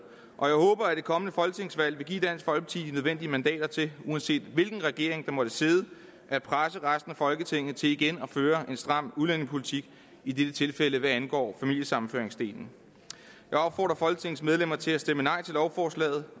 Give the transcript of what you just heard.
og jeg håber at det kommende folketingsvalg vil give dansk folkeparti de nødvendige mandater til uanset hvilken regering der måtte sidde at presse resten af folketinget til igen at føre en stram udlændingepolitik i dette tilfælde hvad angår familiesammenføringsdelen jeg opfordrer folketingets medlemmer til at stemme nej til lovforslaget